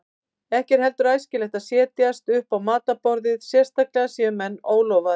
Ekki er heldur æskilegt að setjast upp á matarborðið, sérstaklega séu menn ólofaðir.